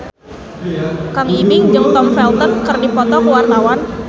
Kang Ibing jeung Tom Felton keur dipoto ku wartawan